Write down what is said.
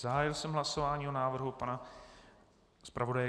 Zahájil jsem hlasování o návrhu pana zpravodaje.